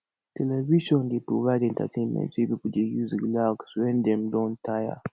television dey provide entertainment wey pipo dey use relax wen dem don tire